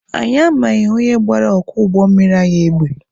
Anyi amaghị onye gbara ọkwọ ụgbọ mmiri anyị egbe.